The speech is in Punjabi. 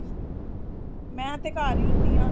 ਮੈਂ ਤੇ ਘਰ ਹੀ ਹੁਣੀ ਆ